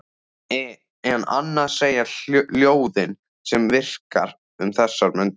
En annað segja ljóðin sem hann yrkir um þessar mundir